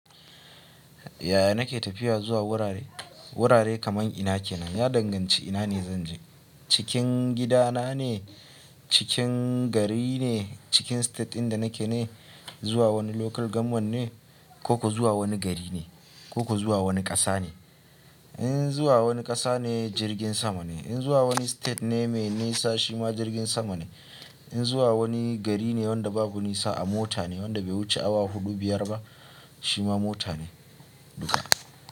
Yaya nake tafiya zuwa wurare? Wurare kaman ina kenan, ya danganci ina ne zan je. Cikin gidana ne, cikin gari ne, cikin state inda nake ne, zuwa wani local government ne, ko kuwa zuwa wani gari ne, ko kuwa zuwa wani ƙasa ne. In zuwa wani ƙasa ne jirgin sama ne, in zuwa wani state ne mai nisa shi ma jirgin sama ne, in zuwa wani gari ne wanda babu nisa a mota ne, wanda bai wuce awa huɗu-biyar ba shi ma mota ne duka.